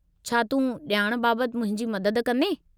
छा तूं ॼाण बाबति मुंहिंजी मदद कंदें?